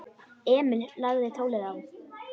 Emil lagði tólið á.